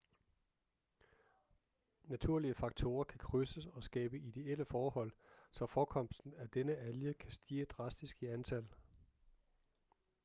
naturlige faktorer kan krydses og skabe ideelle forhold så forekomsten af denne alge kan stige drastisk i antal